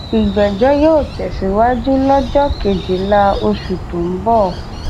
ìgbẹjọ yóò tẹsíwájú lọjọ kejìlá oṣù tó ń bọ